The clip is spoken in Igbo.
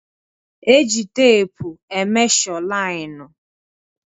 E ji teepu e mesho lain